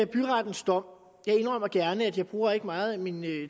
byrettens dom jeg indrømmer gerne at jeg ikke bruger meget af min